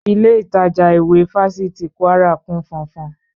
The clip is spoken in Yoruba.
Ilé ìtajà ìwé Fáfitì Kwara kún fọ́nfọ́n